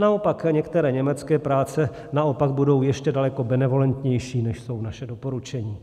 Naopak některé německé práce naopak budou ještě daleko benevolentnější, než jsou naše doporučení.